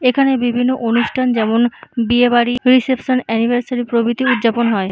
এখানে বিভিন্ন অনুষ্ঠান যেমন বিয়েবাড়ি রিসেপশন এনিভার্সারি প্রভিতি উৎযাপন হয়।